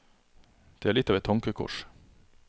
Det er litt av et tankekors.